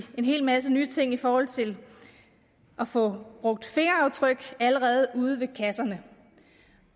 hel masse nye ting i forhold til at få brugt fingeraftryk allerede ude ved kasserne